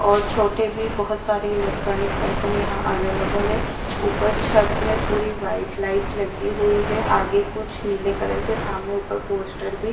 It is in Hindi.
और छोटे भी बहोत सारे इलेक्ट्रॉनिक्स आइटम यहां अवेलेबल है ऊपर छत में पूरी व्हाइट लाइट लगी हुई है आगे कुछ नीले कलर के सामने ऊपर पोस्टर भी--